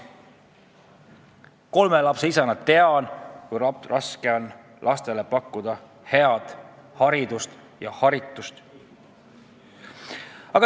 Kolme lapse isana tean, kui raske on lastele pakkuda head haridust ja haritust.